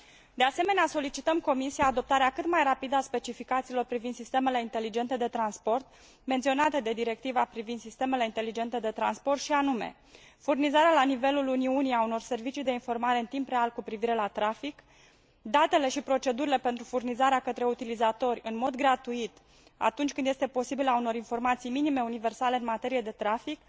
De asemenea, solicităm Comisiei adoptarea cât mai rapidă a specificațiilor privind sistemele inteligente de transport menționate de Directiva privind sistemele inteligente de transport și anume furnizarea la nivelul Uniunii a unor servicii de informare în timp real cu privire la trafic, datele și procedurile pentru furnizarea către utilizatori în mod gratuit, atunci când este posibil, a unor informații minime universale în materie de trafic,